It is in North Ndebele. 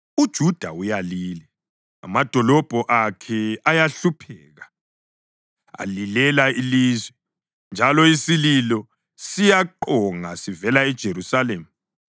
“UJuda uyalila, amadolobho akhe ayahlupheka; alilela ilizwe, njalo isililo siyaqonga sivela eJerusalema.